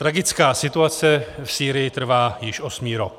Tragická situace v Sýrii trvá již osmý rok.